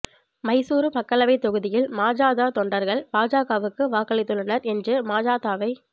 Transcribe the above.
மைசூரு மக்களவைத் தொகுதியில் மஜத தொண்டர்கள் பாஜகவுக்கு வாக்களித்துள்ளனர் என்று மஜதவை